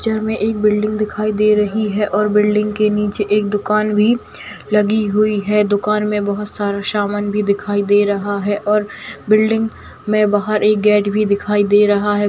Picture में एक building दिखाई दे रही है और बिल्डिंग के नीचे एक दुकान भी लगी हुई है दुकान में बहुत सारे समान भी दिखाई दे रहा है और बिल्डिंग में बाहर एक गेट भी दिखाई दे रहा है।